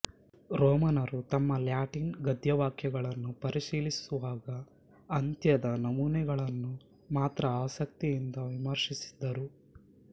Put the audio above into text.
ರೋಮನರೂ ತಮ್ಮ ಲ್ಯಾಟಿನ್ ಗದ್ಯವಾಕ್ಯಗಳನ್ನು ಪರಿಶೀಲಿಸುವಾಗ ಅಂತ್ಯದ ನಮೂನೆಗಳನ್ನು ಮಾತ್ರ ಆಸಕ್ತಿಯಿಂದ ವಿಮರ್ಶಿಸಿದರು